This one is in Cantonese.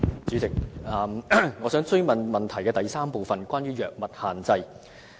主席，我想追問主體質詢的第三部分，關於藥物限制。